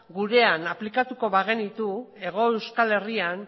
gurena aplikatuko bagenitu hego euskal herrian